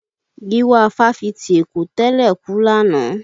Giwa fáfitì Èkó tẹ́lẹ̀ náà kú lánàá.